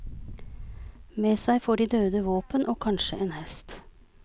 Med seg får de døde våpen og kanskje en hest.